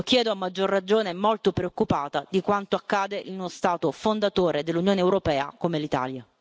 Lo chiedo a maggior ragione e molto preoccupata di quanto accade in uno Stato fondatore dell'Unione europea, come l'Italia.